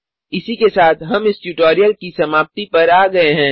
इसी के साथ हम इस ट्यूटोरियल की समाप्ति पर आ गए हैं